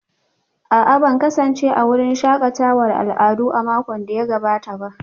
A'a ban kasance a wurin shakatawar al'adu a makon da ya gabata